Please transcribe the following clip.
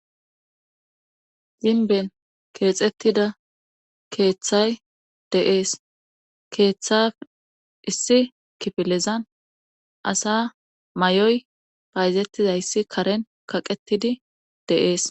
ginben keexettida keeththay de'ese keeththa issi kifilezan asa may7oy fayzettizayssi karen kaqetidi deees